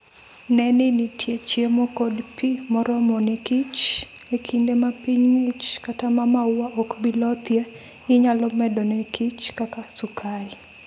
Ne ni nitie chiemo kod pi moromo ne kich. E kinde ma piny ng'ich kata ma maua ok bi lothie, inyalo medo ne kich kaka sukari.